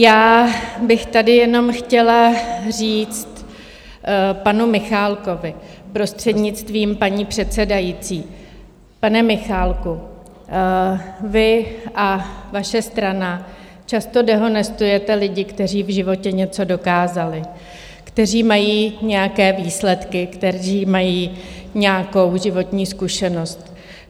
Já bych tady jenom chtěla říct panu Michálkovi, prostřednictvím paní předsedající: Pane Michálku, vy a vaše strana často dehonestujete lidi, kteří v životě něco dokázali, kteří mají nějaké výsledky, kteří mají nějakou životní zkušenost.